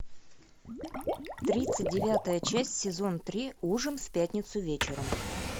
тридцать девятая часть сезон три ужин в пятницу вечером